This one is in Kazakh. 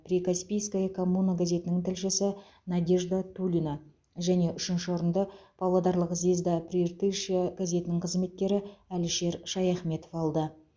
прикаспийская коммуна газетінің тілшісі надежда тулина және үшінші орынды павлодарлық звезда прииртышья газетінің қызметкері әлішер шаяхметов алды